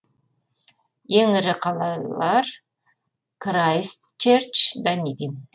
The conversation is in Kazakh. ең ірі қалалар крайстчерч данидин